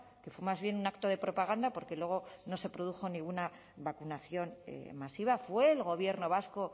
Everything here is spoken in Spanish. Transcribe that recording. que fue más bien un acto de propaganda porque luego no se produjo ninguna vacunación masiva fue el gobierno vasco